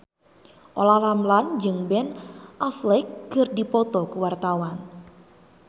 Olla Ramlan jeung Ben Affleck keur dipoto ku wartawan